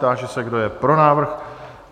Táži se, kdo je pro návrh?